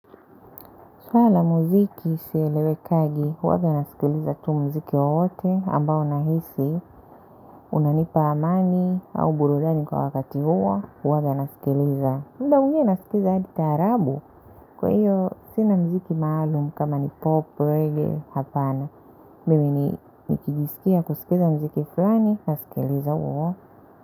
Swala muziki silewekagi, huwaga nasikiliza tu muziki wowote ambao nahisi, unanipa amani, au burudani kwa wakati huo, huwaga nasikiliza. Mda huo nasikiliza hadi taarabu, kwa hiyo sina muziki maalum kama ni pop, reggae, hapana. Mimi ni nikijisikia kusikiza muziki flani, nasikiliza huo.